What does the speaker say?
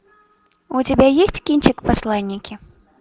у тебя есть кинчик посланники